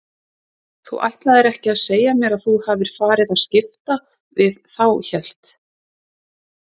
Þú ætlar ekki að segja mér að þú hafir farið að skipta við þá hélt